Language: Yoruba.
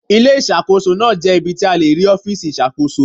Ilé Ìṣàkóso náà jẹ́ ibi tí a ti le rí ọfiisi iṣakoso